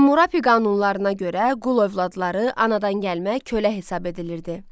Hammurapi qanunlarına görə qul övladları anadan gəlmə kölə hesab edilirdi.